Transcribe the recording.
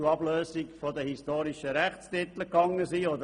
Auch wollte es die historischen Rechtstitel nicht ablösen.